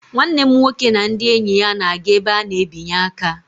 Nwanne m nwoke and ndị enyi ya na-aga ebe a na-ebinye aka